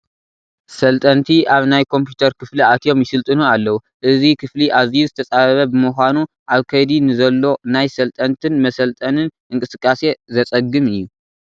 በልጠንቲ ኣብ ናይ ኮምፒዩተር ክፍሊ ኣትዮም ይስልጥኑ ኣለዉ፡፡ እዚ ክፍሊ ኣዝዩ ዝተፃበበ ብምዃኑ ኣብ ከይዲ ንዘሎ ናይ ሰልጠንትን መሰልጠንን እንቅስቃሴ ዘፀግም እዩ፡፡